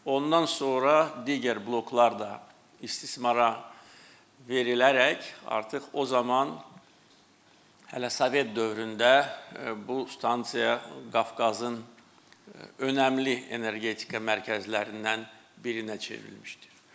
Ondan sonra digər bloklar da istismara verilərək, artıq o zaman hələ Sovet dövründə bu stansiya Qafqazın önəmli energetika mərkəzlərindən birinə çevrilmişdir.